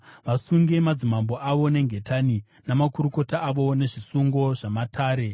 vasunge madzimambo avo nengetani, namakurukota avo nezvisungo zvamatare,